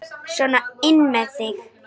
Sona inn með þig!